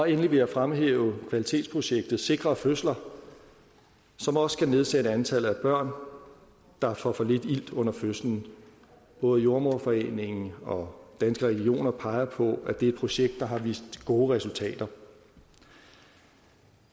endelig vil jeg fremhæve kvalitetsprojektet sikre fødsler som også skal nedsætte antallet af børn der får for lidt ilt under fødslen både jordemoderforeningen og danske regioner peger på at det er et projekt der har vist gode resultater